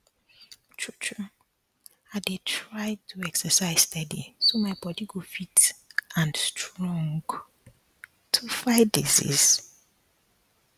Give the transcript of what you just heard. true true i dey try do exercise steady so my my bodi go fit and strong to fight disease